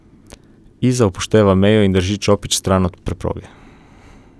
Iza upošteva mejo in drži čopič stran od preproge.